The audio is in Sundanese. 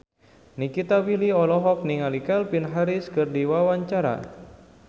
Nikita Willy olohok ningali Calvin Harris keur diwawancara